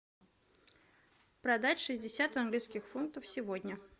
продать шестьдесят английских фунтов сегодня